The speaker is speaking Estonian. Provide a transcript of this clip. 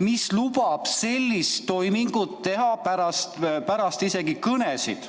mis lubab teha sellist toimingut isegi pärast kõnesid.